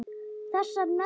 Þessar nöðrur!